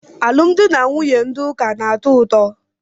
Alụmdi na nwunye ndị ụka na-atọ ụtọ.